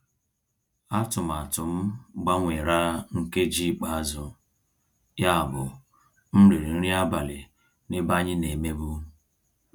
Àtụ̀màtụ́ m gbanwèrà nkèjí íkpe àzụ́, yábụ́ m rị́rị́ nrí àbálị́ n'èbé ànyị́ ná-èmèbú.